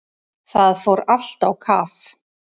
Það fór allt á kaf.